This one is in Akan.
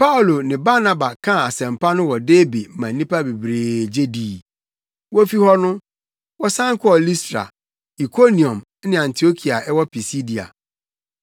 Paulo ne Barnaba kaa asɛmpa no wɔ Derbe ma nnipa pii gye dii. Wofi hɔ no, wɔsan kɔɔ Listra, Ikoniom ne Antiokia a ɛwɔ Pisidia.